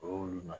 O y'olu